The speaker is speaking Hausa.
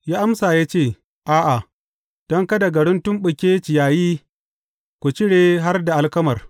Ya amsa ya ce, A’a, don kada garin tuttumɓuke ciyayi, ku cire har da alkamar.